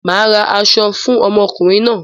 Màá ra aṣọ fún ọmọkùnrin náà.